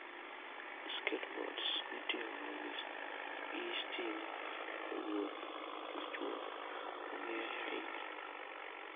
Skateboards mitiyogo gi stima e wuoth machuok, ong'ere ahinya.